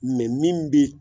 Mɛ min bi